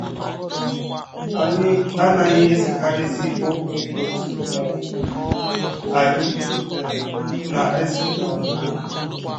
Anyị anaghị esekarịzi ọkwụ ọtụ um anyị um na - ese na mbụ. ”